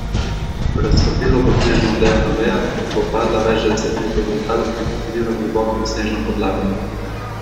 Raztopilo bo snežno odejo na vejah, da bo padla več deset metrov do tal in potonila globoko v snežno podlago.